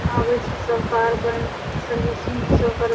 आवे छै सब कार के सर्विसिंग सब कर --